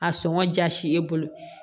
A sɔngɔ jasi i bolo